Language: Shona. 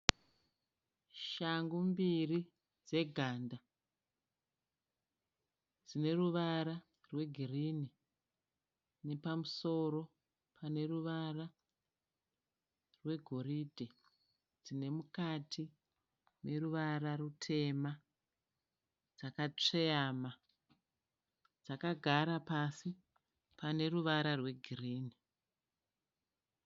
Shangu mbiri dzeganda . Dzineruvara rwe girini ,nepamusoro paneruvara rwegoride. Dzinemukati neruvara rutema dzakasveyama, Dzakagara pasi paneruvara rwegirini.